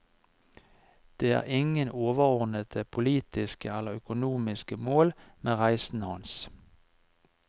Det er ingen overordnede politiske eller økonomiske mål med reisene hans.